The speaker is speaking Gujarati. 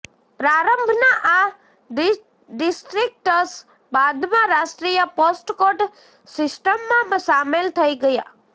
પ્રારંભના આ ડિસ્ટ્રિક્ટ્સ બાદમાં રાષ્ટ્રીય પોસ્ટકોડ સિસ્ટમમાં સામેલ થઇ ગયા